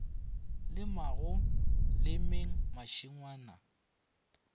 le mo go lemeng mašengwana